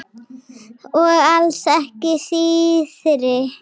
Og alls ekki síðri.